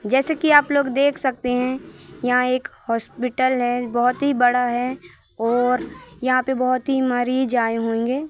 जैसे कि आप लोग देख सकते हैं यहां एक हॉस्पिटल है। बहोत ही बड़ा है और यहां पे बहोत ही मरीज आए होंगे।